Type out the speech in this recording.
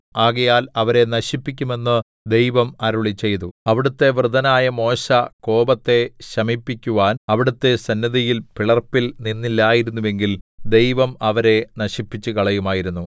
ആകയാൽ അവരെ നശിപ്പിക്കുമെന്ന് ദൈവം അരുളിച്ചെയ്തു അവിടുത്തെ വൃതനായ മോശെ കോപത്തെ ശമിപ്പിക്കുവാൻ അവിടുത്തെ സന്നിധിയിൽ പിളർപ്പിൽ നിന്നില്ലായിരുന്നെങ്കിൽ ദൈവം അവരെ നശിപ്പിച്ചുകളയുമായിരുന്നു